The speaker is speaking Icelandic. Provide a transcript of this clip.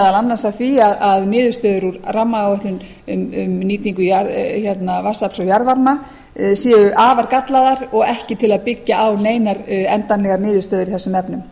annars að því að niðurstöður úr rammaáætlun um nýtingu vatnsafls og jarðvarma séu afar gallaðar og ekki til að byggja á neinar endanlegar niðurstöður í þessum efnum